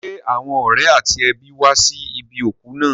Ṣé àwọn ọ̀rẹ́ àti ẹbí wá sí ibi òkú náà?